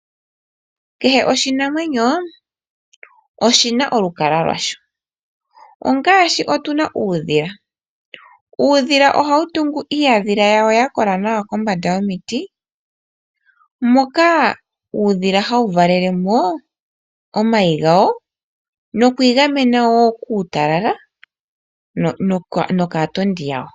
Kehe oshinamwenyo oshina olukalwa lwasho, ongaashi otu na uudhila. Uudhila ohawu tungu iihandhila yawo ya kola nawa kombanda yomiti moka uudhila hawu valele mo omayi gawo nokwii gamena woo kuutalala nokaatondi yawo.